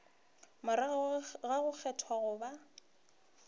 morago ga go kgethwa goba